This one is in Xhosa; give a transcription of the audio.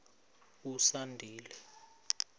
usandile